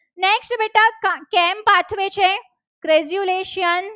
Crezulation